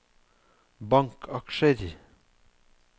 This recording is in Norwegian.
bankaksjer